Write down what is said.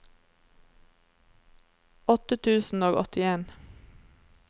åtte tusen og åttien